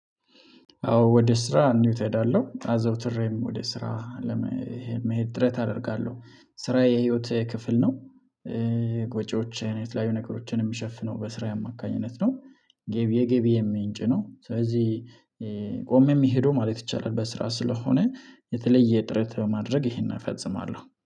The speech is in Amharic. አዎ ወደ ስራ እንውት እሄዳለሁ። አዘውትሬም ወደ ስራ ለመሄድ ጥረት አደርጋለሁ። ስራዬ የህይወቴ ክፍል ነው። የጎጆ ወጪዎቼን የተለያዩ ነገሮችን የምሸፍነው በስራዬ አማካኝነት ነው የገቢዬ ምንጭ ነው ስለዚህ ቆሜ ምሄደው ማለት ይቻላል በስራ ስለሆነ የተለየ ጥረት በማድረግ ይሄንን እፈጽማለሁ